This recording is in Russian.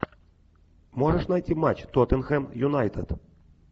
можешь найти матч тоттенхэм юнайтед